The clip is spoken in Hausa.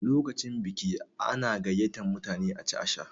Lokacin biki ana gayyatar mutane a ci a sha.